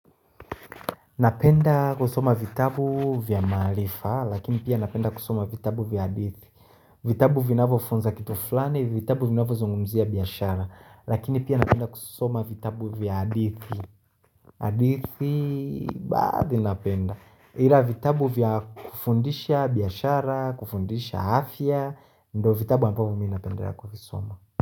Napenda kusoma vitabu vya maarifa, lakini pia napenda kusoma vitabu vya adithi vitabu vinavo funza kitu fulani, vitabu vinavo zungumzia biyashara, lakini pia napenda kusoma vitabu vya adithi adithi baadhi napenda Hila vitabu vya kufundisha biyashara, kufundisha hafya, ndo vitabu ambavyo minapenda kuvisoma.